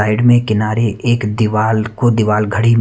side में एक किनारे एक दिवार को दिवार घडी --